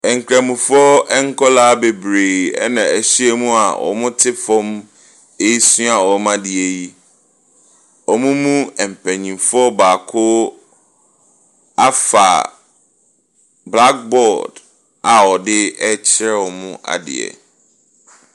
Nkramofoɔ nkwadaa bebree na ahyia mu a wɔte fam resua wɔn adeɛ yi. Wɔn mu mpanimfoɔ baako afa blackboard a ɔde rekyerɛ wɔn adeɛ.